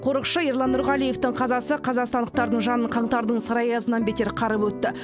қорықшы ерлан нұрғалиевтің қазасы қазақстандықтардың жанын қаңтардың сары аясынан бетер қарып өтті